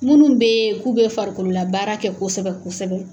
Minnu bɛ yen k'u bɛ farikolo la baara kɛ kosɛbɛ kosɛbɛ